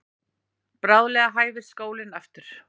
Bráðlega hæfist skólinn aftur.